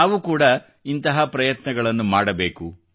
ನಾವು ಕೂಡಾ ಇಂತಹ ಪ್ರಯತ್ನಗಳನ್ನು ಮಾಡಬೇಕು